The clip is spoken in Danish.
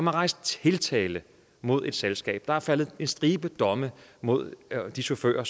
har rejst tiltale mod selskabet og der er faldet en stribe domme mod de chauffører